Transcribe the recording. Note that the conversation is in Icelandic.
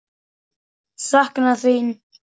Sakna þín.